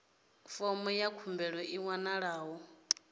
fomo ya khumbelo i wanalaho